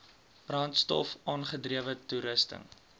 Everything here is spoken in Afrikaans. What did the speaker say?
brandstof aangedrewe toerusting